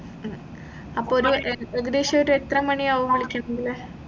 ഉം അപ്പൊ ഒരു ഏകദേശം ഒരു എത്ര മണിയാകും വിളിക്കാണെങ്കിൽ